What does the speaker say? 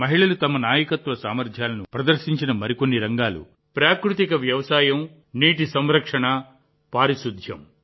మహిళలు తమ నాయకత్వ సామర్థ్యాలను ప్రదర్శించిన మరికొన్ని రంగాలు ప్రాకృతిక వ్యవసాయం నీటి సంరక్షణ పారిశుద్ధ్యం